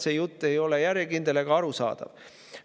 See jutt ei ole järjekindel ega arusaadav.